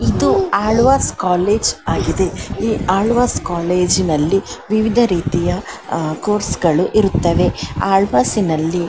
ಇದು ಆಳ್ವಾಸ್ ಕಾಲೇಜು ಆಗಿದೆ ಈ ಆಳ್ವಾಸ್ ಕಾಲೇಜಿನಲ್ಲಿ ವಿವಿಧ ರೀತಿಯ ಕೋರ್ಸ್ ಗಳು ಇರುತ್ತವೆ ಆಳ್ವಾಸ್ನಲ್ಲಿ --